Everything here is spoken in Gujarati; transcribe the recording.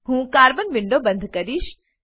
હું કાર્બન વિન્ડો બંધ કરીશ